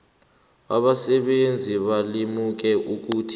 abasebenzi balimuke ukuthi